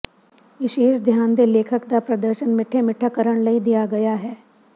ਵਿਸ਼ੇਸ਼ ਧਿਆਨ ਦੇ ਲੇਖਕ ਦਾ ਪ੍ਰਦਰਸ਼ਨ ਮਿੱਠੇ ਮਿੱਠਾ ਕਰਨ ਲਈ ਦਿੱਤਾ ਗਿਆ ਹੈ